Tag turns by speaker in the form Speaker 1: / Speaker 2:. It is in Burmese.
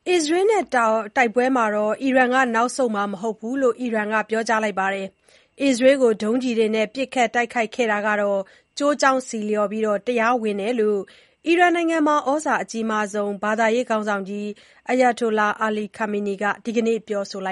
Speaker 1: အစ္စရေးနဲ့တိုက်ပွဲမှာ အီရန်က နောက်ဆုတ်မှာ မဟုတ်ဘူးလို့ အီရန်က ပြောကြားလိုက်ပါတယ်။ အစ္စရေးကို ဒုံးကျည်တွေနဲ့ ပစ်ခတ် တိုက်ခိုက်ခဲ့တာဟာလည်း ကျိုးကြောင်းဆီလျော်ပြီး တရားဝင်တယ်လို့ အီရန်နိုင်ငံမှာ သြဇာအကြီးမားဆုံး ဘာသာရေးခေါင်းဆောင်ကြီး Ayatollah Ali Khamenei က ဒီကနေ့ ပြောဆိုလိ